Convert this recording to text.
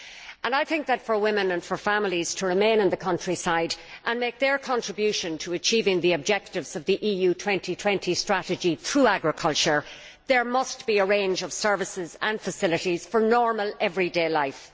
In order for women and families to remain in the countryside and make their contribution to achieving the objectives of the EU 2020 strategy through agriculture, there must be a range of services and facilities for normal everyday life.